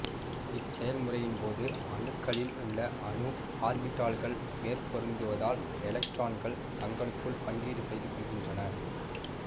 இச்செயல்முறையின்போது அணுக்களில் உள்ள அணு ஆர்பிட்டால்கள் மேற்பொருந்துவதால் எலக்ட்ரான்கள் தங்களுக்குள் பங்கீடு செய்து கொள்கின்றன